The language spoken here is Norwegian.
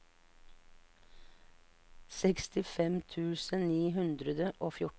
sekstifem tusen ni hundre og fjorten